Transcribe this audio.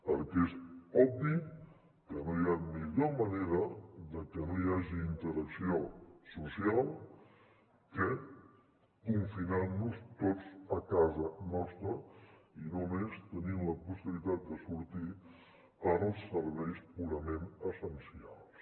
perquè és obvi que no hi ha millor manera que no hi hagi interacció social que confinant nos tots a casa nostra i només tenint la possibilitat de sortir pels serveis purament essencials